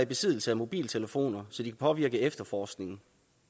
besiddelse af mobiltelefoner så de kan påvirke efterforskningen